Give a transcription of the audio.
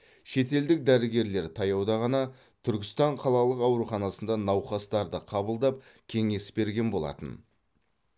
шетелдік дәрігерлер таяуда ғана түркістан қалалық ауруханасында науқастарды қабылдап кеңес берген болатын